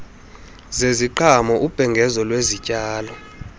zeziqhamo ubhengezo lwezityalo